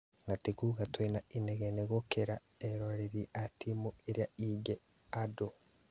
Nĩ ta kuga twĩna inegene gũkĩra (erori a timũ iria ingĩ) andũ